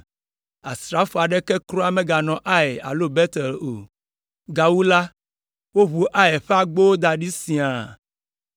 asrafo aɖeke kura meganɔ Ai alo Betel o. Gawu la, woʋu Ai ƒe agbowo da ɖi siãa.